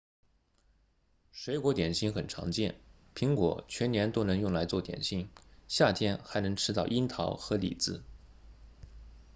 水果点心很常见苹果全年都能用来做点心夏天还能吃到樱桃和李子